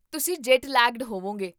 ਤੁਸੀਂ jet lagged ਹੋਵੋਂਗੇ